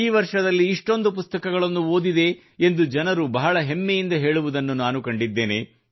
ಈ ವರ್ಷದಲ್ಲಿ ಇಷ್ಟೊಂದು ಪುಸ್ತಕಗಳನ್ನು ಓದಿದೆ ಎಂದು ಜನರು ಬಹಳ ಹೆಮ್ಮೆಯಿಂದ ಹೇಳುವುದನ್ನು ನಾನು ಕಂಡಿದ್ದೇನೆ